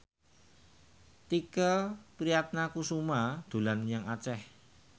Tike Priatnakusuma dolan menyang Aceh